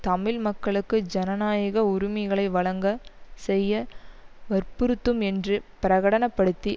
தமிழ் மக்களுக்கு ஜனநாயக உரிமைகளை வழங்கச் செய்ய வற்புறுத்தும் என்று பிரகடன படுத்தி